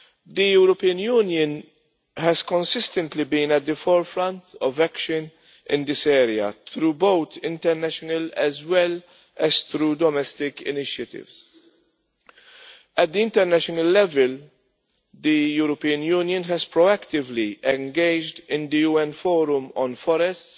The European Union has consistently been at the forefront of action in this area through both international and domestic initiatives. At the international level the European Union has proactively engaged in the UN Forum on Forests,